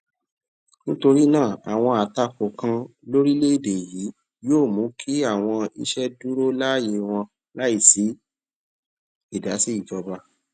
nítorí náà àwọn àtakò kan lórìléèèdè yìí yóò mú kí àwọn iṣé dúró láyè wọn láì sí ìdàsí ìjọba